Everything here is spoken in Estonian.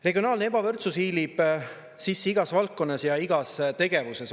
Regionaalne ebavõrdsus hiilib sisse igas valdkonnas ja igas tegevuses.